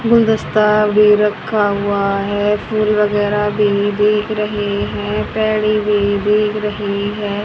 गुलदस्ता भी रखा हुआ हैं फुल वगैरा भी में देख रहें हैं टेडी भी दिख रहे हैं।